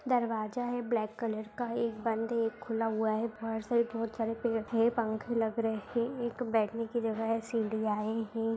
दरवाजा है black colour का एक बंद है एक खुला हुआ है बाहर साइड बहुत सारे पेड़ हैं पंखे लग रहे एक बैठने की जगह है सीढ़ियां यें हैं।